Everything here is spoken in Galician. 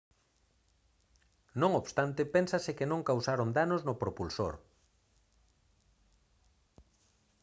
non obstante pénsase que non causaron danos no propulsor